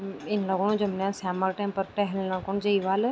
इन लगणु जन बुन्यां साम क टैम फर टेहेलना खुन जेई वाल।